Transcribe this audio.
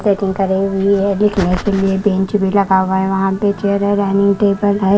Painting करी हुई है देखने के लिए बेंच भी लगा हुआ है वहां पे चेयर है डाइनिंग टेबल है।